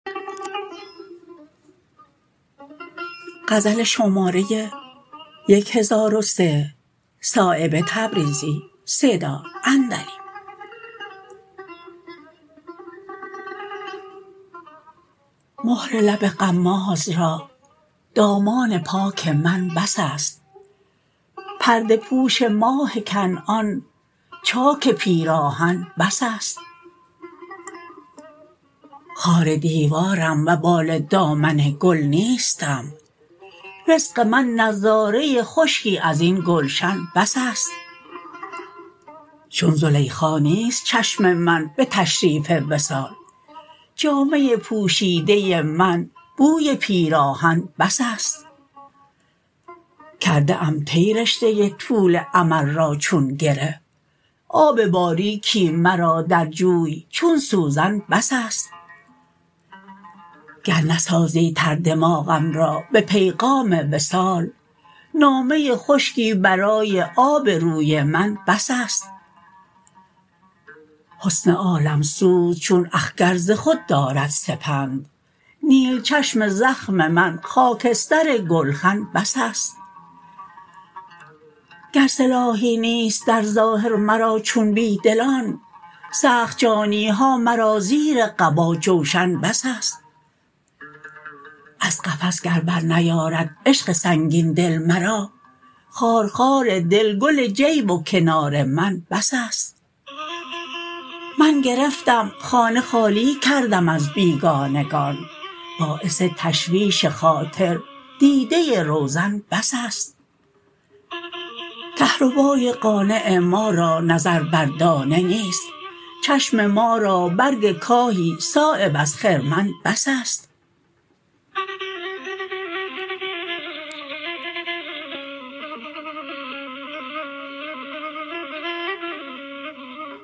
مهر لب غماز را دامان پاک من بس است پرده پوش ماه کنعان چاک پیراهن بس است خار دیوارم وبال دامن گل نیستم رزق من نظاره خشکی ازین گلشن بس است چون زلیخا نیست چشم من به تشریف وصال جامه پوشیده من بوی پیراهن بس است کرده ام طی رشته طول امل را چون گره آب باریکی مرا در جوی چون سوزن بس است گر نسازی تر دماغم را به پیغام وصال نامه خشکی برای آب روی من بس است حسن عالمسوز چون اخگر ز خود دارد سپند نیل چشم زخم من خاکستر گلخن بس است گر سلاحی نیست در ظاهر مرا چون بیدلان سخت جانی ها مرا زیر قبا جوشن بس است از قفس گر بر نیارد عشق سنگین دل مرا خارخار دل گل جیب و کنار من بس است من گرفتم خانه خالی کردم از بیگانگان باعث تشویش خاطر دیده روزن بس است کهربای قانع ما را نظر بر دانه نیست چشم ما را برگ کاهی صایب از خرمن بس است